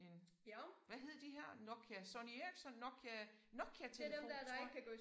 En hvad hed de her Nokia Sony Ericsson Nokia Nokia telefon tror